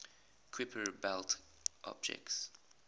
kuiper belt objects